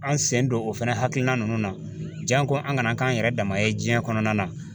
An sen don o fɛnɛ hakilina nunnu na jan ko an kana k'an yɛrɛ dama ye jiɲɛ kɔnɔna na